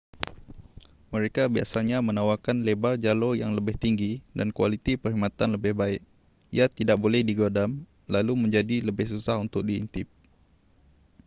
mereka biasanya menawarkan lebar jalur yang lebih tinggi dan kualiti perkhidmatan lebih baik ia tidak boleh digodam lalu menjadi lebih susah untuk diintip